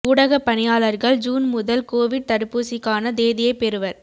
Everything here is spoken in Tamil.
ஊடகப் பணியாளர்கள் ஜூன் முதல் கோவிட் தடுப்பூசிக்கான தேதியைப் பெறுவர்